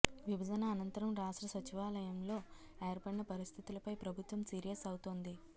విభజన అనంతరం రాష్ట్ర సచివాలయంలో ఏర్పడిన పరిస్థితులపై ప్రభుత్వం సీరియస్ అవుతోంది